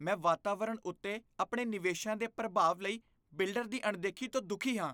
ਮੈਂ ਵਾਤਾਵਰਣ ਉੱਤੇ ਆਪਣੇ ਨਿਵੇਸ਼ਾਂ ਦੇ ਪ੍ਰਭਾਵ ਲਈ ਬਿਲਡਰ ਦੀ ਅਣਦੇਖੀ ਤੋਂ ਦੁੱਖੀ ਹਾਂ।